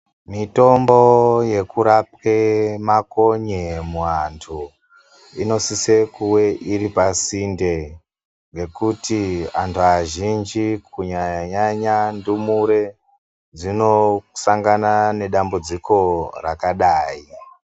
Mitombo yekurapwe makonye muantu inosise kuve iri oasinde ngekuti antu azhinji Kunyanya nyanya ndumure dzinosangana nedambudziko rakadai.